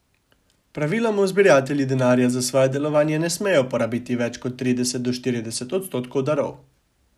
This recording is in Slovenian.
Praviloma zbiratelji denarja za svoje delovanje ne smejo porabiti več kot trideset do štirideset odstotkov darov.